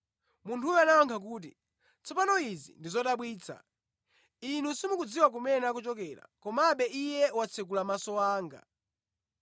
Munthuyo anayankha kuti, “Tsopano izi ndi zodabwitsa! Inu simukudziwa kumene akuchokera, komabe iye watsekula maso anga.